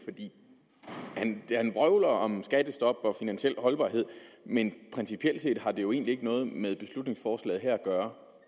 for han vrøvler om skattestop og finansiel holdbarhed men principielt set har det jo egentlig ikke noget med beslutningsforslaget at gøre